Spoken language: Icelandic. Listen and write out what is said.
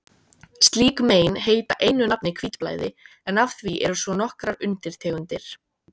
Slík mein heita einu nafni hvítblæði, en af því eru svo nokkrar undirtegundir.